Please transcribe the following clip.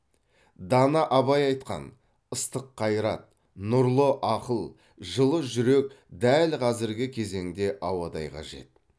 дана абай айтқан ыстық қайрат нұрлы ақыл жылы жүрек дәл қазіргі кезеңде ауадай қажет